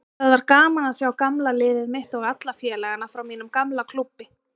Það var gaman að sjá gamla liðið mitt og alla félagana frá mínum gamla klúbbi.